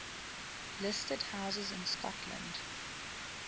listed houses in scotland